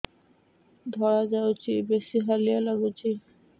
ଧଳା ଯାଉଛି ବେଶି ହାଲିଆ ଲାଗୁଚି